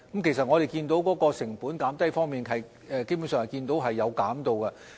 其實，我們看到在成本方面，基本上是有減低的。